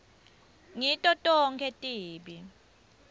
ngito tonkhe tibi